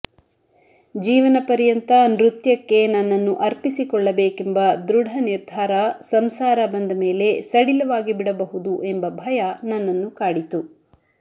ಜೀವನ ಪರ್ಯಂತ ನೃತ್ಯಕ್ಕೆ ನನ್ನನ್ನು ಅರ್ಪಿಸಿಕೊಳ್ಳಬೇಕೆಂಬ ದೃಢ ನಿರ್ಧಾರ ಸಂಸಾರ ಬಂದಮೇಲೆ ಸಡಿಲವಾಗಿಬಿಡಬಹುದು ಎಂಬ ಭಯ ನನ್ನನ್ನು ಕಾಡಿತು